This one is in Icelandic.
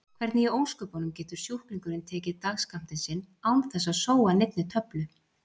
Hvernig í ósköpunum getur sjúklingurinn tekið dagsskammtinn sinn án þess að sóa neinni töflu?